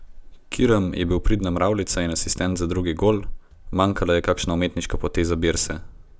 Kirm je bil pridna mravljica in asistent za drugi gol, manjkala je kakšna umetniška poteza Birse.